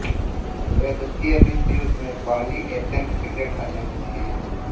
वे द्वितीय विश्वयुद्ध में पहली एशियन सीक्रेट एजेंट थी